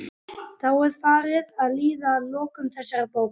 Þá er farið að líða að lokum þessarar bókar.